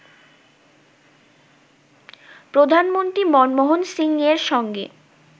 প্রধানমন্ত্রী মনমোহন সিংয়ের সঙ্গে